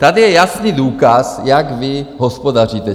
Tady je jasný důkaz, jak vy hospodaříte.